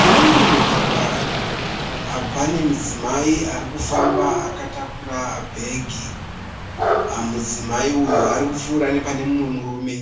Mune mumwe mugwagwa pane mudzimai ari kufamba akatakura bhegi. Mudzimai uyu ari kupfuura nepane mumwe murume.